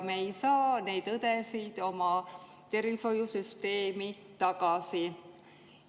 Me ei saa neid õdesid oma tervishoiusüsteemi tagasi.